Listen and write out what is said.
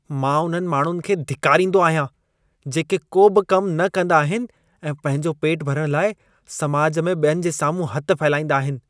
मां उन्हनि माण्हुनि खे धिकारींदो आहियां, जेके को बि कम न कंदा आहिनि ऐं पंहिंजो पेट भरण लाइ समाज में ॿियनि जे साम्हूं हथ फहिलाईंदा आहिनि।